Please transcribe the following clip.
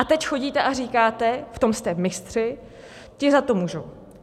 A teď chodíte a říkáte - v tom jste mistři - ti za to můžou.